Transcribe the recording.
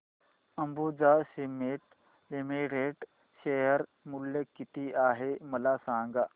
Ambuja cements limited share मूल्य किती आहे मला सांगा